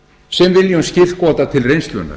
sem viljum skírskota til reynslunnar